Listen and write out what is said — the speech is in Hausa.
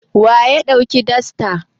Wa ya ɗauki dastar?